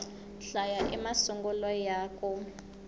hlaya i masungulo ya ku